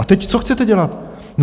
A teď, co chcete dělat?